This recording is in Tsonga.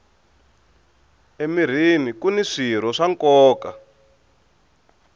emirhini kuni swirho swa nkoka